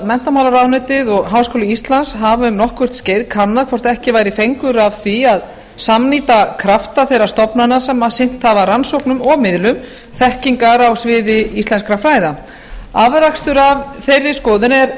menntamálaráðuneytið og háskóli íslands hafa um nokkurt skeið kannað hvort ekki væri fengur að því að samnýta krafta þeirra stofnana sem sinnt hafa rannsóknum og miðlum þekkingar á sviði íslenskra fræða afrakstur af þeirri skoðun er